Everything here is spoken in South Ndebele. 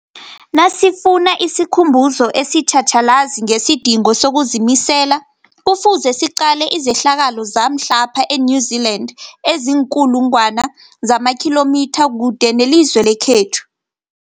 Nasifuna isikhumbuzo esitjhatjhalazi ngesidingo sokuzimisela, Kufuze siqale izehlakalo zamhlapha e-New Zealand eziinkulu ngwana zamakhilomitha kude nelizwe lekhethu.